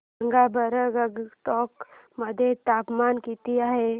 सांगा बरं गंगटोक मध्ये तापमान किती आहे